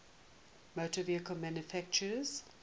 motor vehicle manufacturers